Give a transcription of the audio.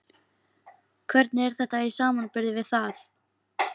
Hvernig er þetta í samanburði við það?